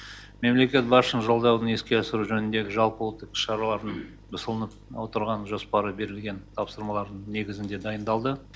мемлекет басшысының жолдауын іске асыру жөнінде жалпыұлттық шаралардың ұсынылып отырған жоспары берілген тапсырмалар негізінде дайындалды